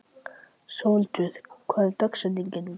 Sólhildur, hver er dagsetningin í dag?